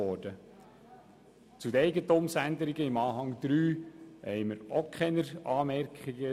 Zu den in Anhang 3 enthaltenen Eigentumsänderungen haben wir auch keine Anmerkungen;